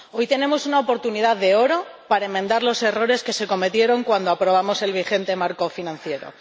Hoy tenemos una oportunidad de oro para enmendar los errores que se cometieron cuando aprobamos el vigente marco financiero.